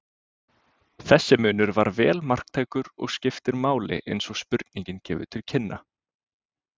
Þessi munur er vel marktækur og skiptir máli eins og spurningin gefur til kynna.